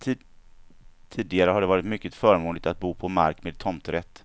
Tidigare har det varit mycket förmånligt att bo på mark med tomträtt.